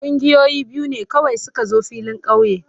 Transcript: Kungiyoyi biyu ne kawai su ka zo filin kauye.